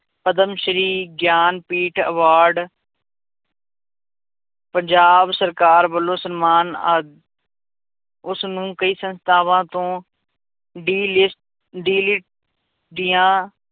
Padma Shri Jnanpith award Punjab ਸਰਕਾਰ ਵੱਲੋਂ ਸਨਮਾਨ ਆਦਿ ਉਸਨੂੰ ਕਈ ਸੰਸਥਾਵਾਂ ਤੋਂ ਦੀਆਂ